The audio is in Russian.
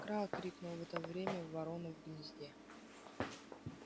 кра крикнула в это время ворона в гнезде